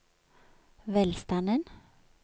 velstanden